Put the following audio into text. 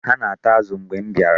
Ha na-ata azụ mgbe m bịara.